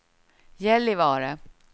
Gällivare